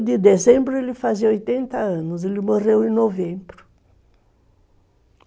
em dezembro ele fazia oitenta anos, ele morreu em novembro.